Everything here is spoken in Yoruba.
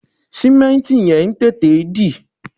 Sìmẹ́ǹtì yẹn ń tètè dì